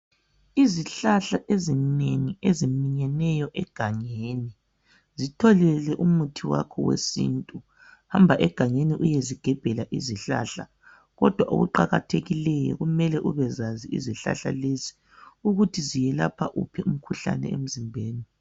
Izihlahla ezinengi eziminyeneyo egangeni zitholele umuthi wakho wesintu, hamba egangeni uyezigebhela izihlahla kodwa okuqakathekileyo kumele ubezazi izihlahla lezi ukuthi ziyelapha uphi umkhuhlane emzimbeni.